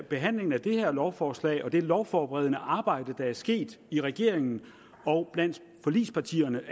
behandlingen af det her lovforslag og over det lovforberedende arbejde der er sket i regeringen og blandt forligspartierne